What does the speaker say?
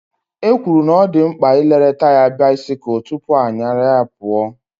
E kwuru na ọ dị mkpa ị lere taya bisikul tụpụ ị nyaru ya pụọ